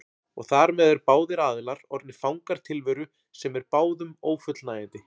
Og þar með eru báðir aðilar orðnir fangar tilveru sem er báðum ófullnægjandi.